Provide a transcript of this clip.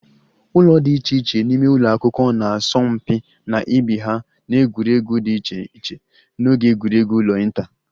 Ụlọ dị iche iche n'ime ụlọ akwụkwọ na-asọ mpi na ibe ha n'egwuregwu dị iche iche n'oge egwuregwu ụlọ inter